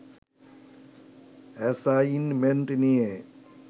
assignment নিয়ে